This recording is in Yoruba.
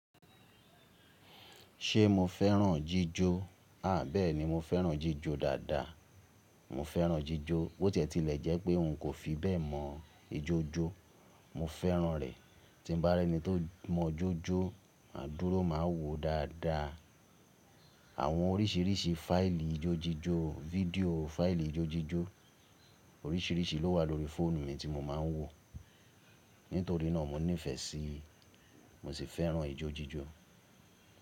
Ṣé mo fẹ́ràn jíjọ? À bẹ́ẹ̀ni, mo fẹ́ràn jíjọ dáadáa. Mo fẹ́ràn jíjọ. Bó tí ẹ̀ ti lẹ̀ jẹ́ pé n kò fi bẹ́ẹ̀ mọ ijójó, mo fẹ́ràn rẹ̀. Tí n bá rí ẹni tó mọ ijójó, àdúró máa wòó dáadáa. Àwọn oríṣìrísìí fáìlì ijójíjó, fídíò, fáìlì ijójíjó oríṣìrísìí ló wà lórí fóònù mi tí mo máa ń wò. Nítorí náà, mo nífẹ́ẹ́ sí i. Mo sì fẹ́ràn ijójíjó.